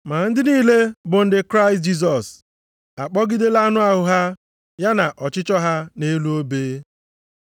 Ma ndị niile bụ ndị Kraịst Jisọs akpọgidela anụ ahụ ha, ya na ọchịchọ ha nʼelu obe.